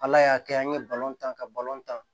Ala y'a kɛ an ye balon ta ka balon tan